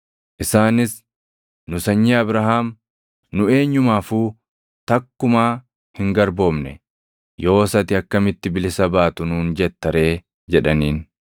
Isaanis, “Nu sanyii Abrahaam; nu eenyumaafuu takkumaa hin garboomne. Yoos ati akkamitti bilisa baatu nuun jetta ree?” jedhaniin.